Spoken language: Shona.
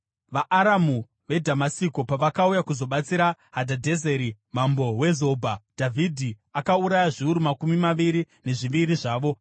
VaAramu veDhamasiko pavakauya kuzobatsira Hadhadhezeri mambo weZobha, Dhavhidhi akauraya zviuru makumi maviri nezviviri zvavo.